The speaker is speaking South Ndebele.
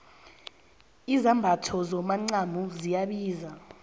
izambatho zomacamo ziyabiza